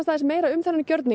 meira um þennan gjörning